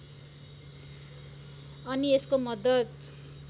अनि यसको मद्दत